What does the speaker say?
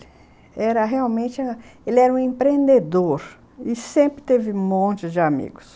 Era realmente a, ele era um empreendedor e sempre teve um monte de amigos.